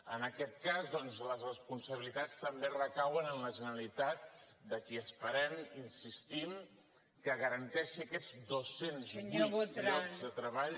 en aquest cas doncs les responsabilitats també recauen en la generalitat de qui esperem hi insistim que garanteixi aquests dos cents i vuit llocs de treball